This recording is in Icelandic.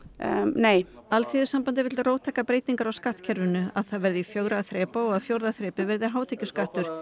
nei Alþýðusambandið vill róttækar breytingar á skattkerfinu að það verði fjögurra þrepa og fjórða þrepið verði hátekjuskattur